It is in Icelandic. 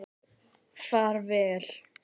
Far vel.